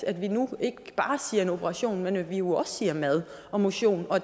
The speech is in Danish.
at vi nu ikke bare siger operation men at vi jo også siger mad og motion og